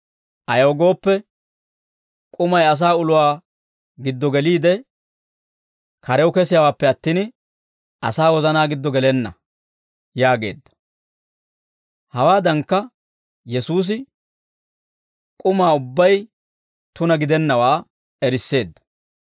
Ayaw gooppe, k'umay asaa uluwaa giddo geliide, karew kesiyaawaappe attin, asaa wozanaa giddo gelenna» yaageedda. Hawaadankka Yesuusi k'umaa ubbay tuna gidennawaa erisseedda.